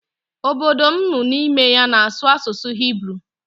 Obodo m nụ n'ime ya na-asụ asụsụ hiburu.